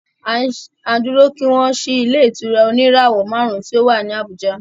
À ń dúró kí wọ́n ṣí ilé ìtura oníràwọ̀ márùn ùn tí o wá ní Abùjá.